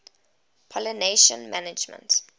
pollination management